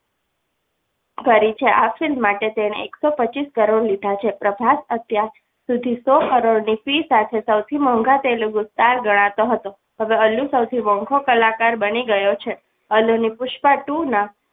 કરી છે આ film માટે તેણે એકસો પચીસ કરોડ લીધા છે પ્રભાસ અત્યારે સુધી સો કરોડની film સાથે સૌથી મોંઘા તેલુગુ star ગણાતો હતો હવે અલ્લુ સૌથી મોંઘો કલાકાર બની ગયો છે અલ્લુની પુષ્પા two ના